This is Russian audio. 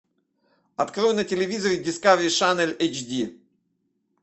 открой на телевизоре дискавери шанель эйч ди